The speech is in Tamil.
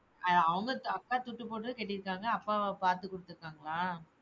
அவங்க அ அக்கா துட்டுப் போட்டு கட்டியிருக்காங்க, அப்பாமா பாத்துகுடுத்துருக்காங்களா?